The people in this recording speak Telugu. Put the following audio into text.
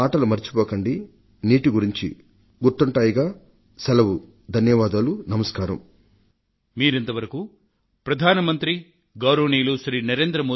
దయచేసి నేను నీటిని గురించి చెప్పిన మాటలను మీరు మరిచిపోకండి